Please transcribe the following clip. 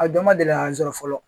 A dɔ ma deli k'a n sɔrɔ fɔlɔ